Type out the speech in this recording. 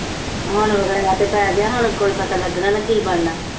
ਹੁਣ ਵਿਗੜਾਅ ਤਾਂ ਪੈ ਗਿਆ, ਹੁਣ ਕੋਈ ਪਤਾ ਲੱਗਣਾ ਦਾ ਕੀ ਬਣਨਾ